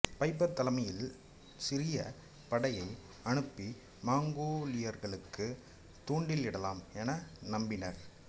fibres தலைமையில் ஒரு சிறிய படையை அனுப்பி மங்கோலியர்களுக்குத் தூண்டில் இடலாம் என நம்பினார்